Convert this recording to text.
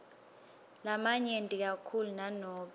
lamanyenti kakhulu nanobe